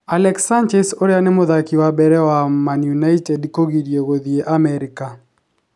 Alexis Sanchez ũria nĩ mũthaki wa mbere wa Man Utd kũgirio gũthiĩ Amerika